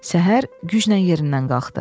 Səhər güclə yerindən qalxdı.